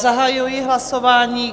Zahajuji hlasování.